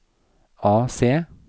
AC